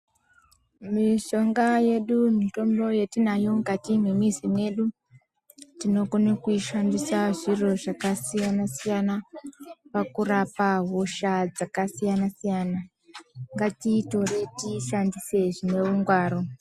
Mishonga yedu, mitombo yetinayo mukati mwemizi yedu, tinokone kuishandisa zviro zvakasiyana-siyana pakurapa hosha dzakasiyana-siyana. Ngatiitore tiishandise zvineungwaru.